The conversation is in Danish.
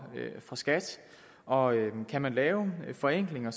skat og kan man lave forenklinger